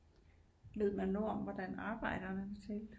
Ved man noget om hvordan arbejderne de talte